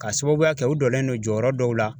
K'a sababuya kɛ u dɔlen don jɔyɔrɔ dɔw la